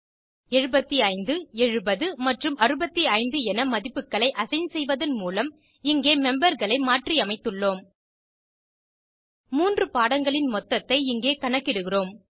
75 70 மற்றும் 65 என மதிப்புகளை அசைன் செய்வதன் மூலம் இங்கே memberகளை மாற்றியமைத்துள்ளோம் மூன்று பாடங்களின் மொத்தத்தை இங்கே கணக்கிடுகிறோம்